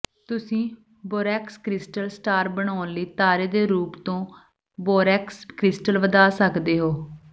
ਤੁਸੀਂ borax crystal star ਬਣਾਉਣ ਲਈ ਤਾਰੇ ਦੇ ਰੂਪ ਤੇ ਬੋਰੈਕਸ ਕ੍ਰਿਸਟਲ ਵਧਾ ਸਕਦੇ ਹੋ